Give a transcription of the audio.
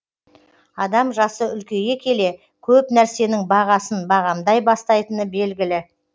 адам жасы үлкейе келе көп нәрсенің бағасын бағамдай бастайтыны белгілі